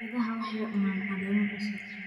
Idaha waxay cunaan caleemo cusub.